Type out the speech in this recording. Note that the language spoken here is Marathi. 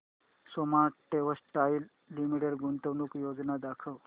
सोमा टेक्सटाइल लिमिटेड गुंतवणूक योजना दाखव